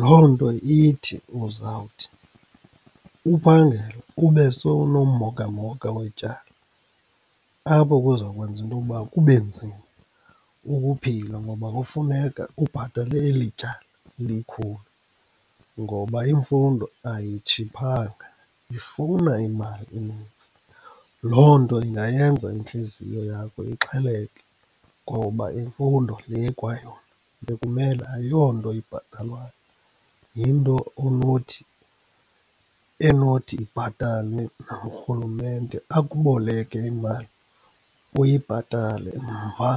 Loo nto ithi uzawuthi uphangela ube sowunommhokamhoka wetyala, apho kuzokwenza intowuba kube nzima ukuphila ngoba kufuneka ubhatele eli tyala likhulu, ngoba imfundo ayitshiphanga, ifuna imali enintsi. Loo nto ingayenza intliziyo yakho ixheleke ngoba imfundo le kwayona bekumele ayonto ibhatalwayo, yinto onothi, enothi ibhatalwe nangurhulumente, akuboleke imali uyibhatale mva.